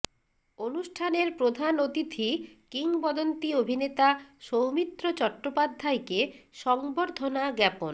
অনুষ্ঠানের প্রধান অতিথি কিংবদন্তি অভিনেতা সৌমিত্র চট্টোপাধ্যায়কে সংবর্ধনা জ্ঞাপন